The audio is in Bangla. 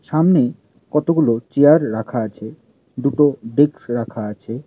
সামনে কতগুলো চেয়ার রাখা আছে দুটো ডেকস রাখা আছে।